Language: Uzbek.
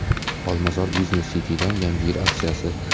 Olmazor Business City’dan yangi yil aksiyasi.